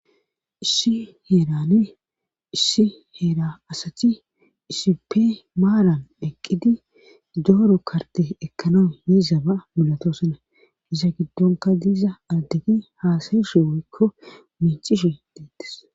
issi heerane issi heera asati isipe maaran eqqidi dooro karte ekkana yezaba milatosana izata giddonka diiza addegi haasayishe woykko mincishe deettes